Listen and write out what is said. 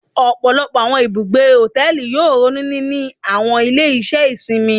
Ọpọlọpọ awọn ibugbe hotẹẹli yoo ronu nini awọn ile-iṣẹ isinmi